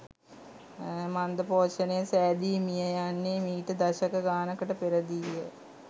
මන්දපෝෂණය සෑදී මිය යන්නේ මිට දශක ගානකට පෙරදීය